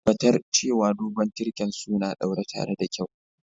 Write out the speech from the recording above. Tabatar cewa dogon tirken suna ɗaure tare da kyau.